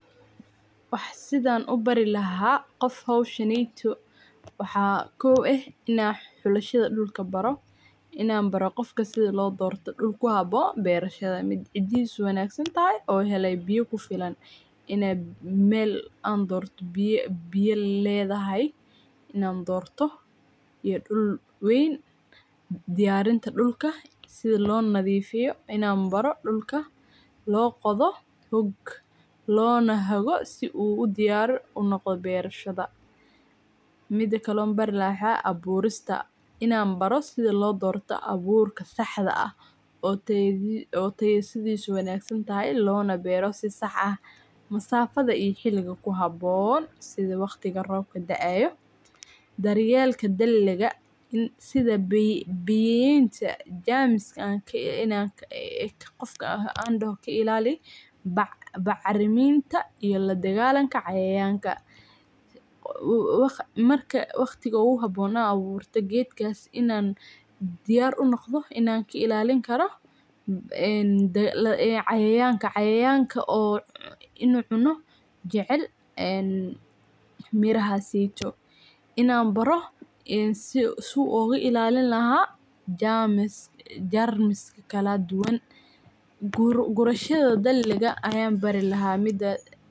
Wax sidhan u barii laxa qof howshaneyto waxa kow eh ,xulashada dhulka baro inan baro sidha dhulka loo doorto dhul wanagsan oo cidisu tayo leh oo hele biyo kufilan, an dorto oo biyo ledahay inan dorto iyo dhul weyn ,diyarinta dhulka sidha loo nadifiyo inan baro dhulka loo qodoo lona hago si u dyar uu noqdo berashada. Mida kale oo bari lahaa maxa weye ,aburista inaan baro sidha loo dorto aburka saxda ah oo tayadisu wanag santahay lona bero si sax ah ,masafada iyo xiliga ku habon sidha waqtiga robka dacayo, daryelta daliga shidha jamsiga biyayenta iyo kailalin bacriminta iyo ladagalanka cayayanka. Marka waqtiga ugu haboon aad aburta gedkas inan diyar u noqdo inan kailalini karo inaan diyar u noqdo cayayanka. Cayayanka oo inu cuno jecel mirahaseyto inan baro si oga ilalin laha jarmis kaladuwan gurashada daqliga ayan barii laha midaas.